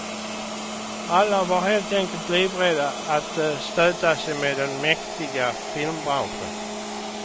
Alla var helt enkelt livrädda att stöta sig med den mäktiga filmbranschen.